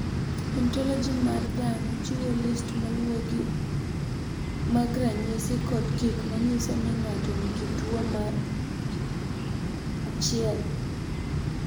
Ontoloji mar dhano chiwo list maluwogi mag ranyisi kod gik ma nyiso ni ng’ato nigi tuwo mar 1.